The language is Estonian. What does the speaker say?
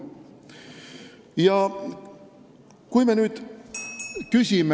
Ja kui me nüüd küsime ...